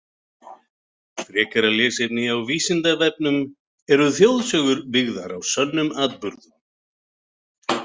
Frekara lesefni á Vísindavefnum: Eru þjóðsögur byggðar á sönnum atburðum?